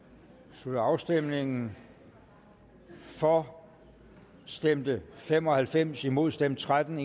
slutter afstemningen for stemte fem og halvfems imod stemte tretten